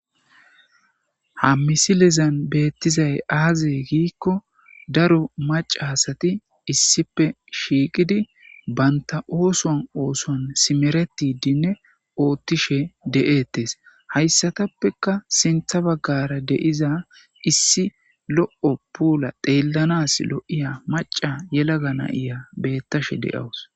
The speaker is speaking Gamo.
Ha misilezan beettizay aaze giikko daro maca asati issipe shiiqidi banta oosoan ooson simeretidinne oottishe de'ettes hayssatappeka sintha baggara deiza issi lo'o puula deellanas lo'ya maca yelaga nayiya bettashe de7awus.